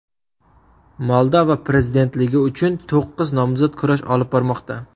Moldova prezidentligi uchun to‘qqiz nomzod kurash olib bormoqda.